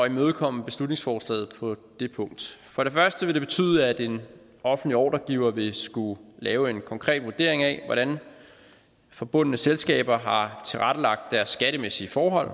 imødekomme beslutningsforslaget på det punkt for det første vil det betyde at en offentlig ordregiver vil skulle lave en konkret vurdering af hvordan forbundne selskaber har tilrettelagt deres skattemæssige forhold